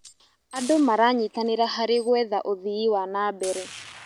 Andũ maranyitanĩra harĩ gwetha ũthii wa na mbere.